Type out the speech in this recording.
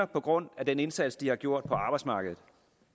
på grund af den indsats de har gjort på arbejdsmarkedet